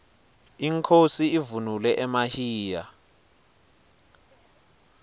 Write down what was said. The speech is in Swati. inkhosi ivunule emahiya